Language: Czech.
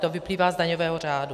To vyplývá z daňového řádu.